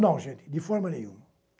Não, gente, de forma nenhuma.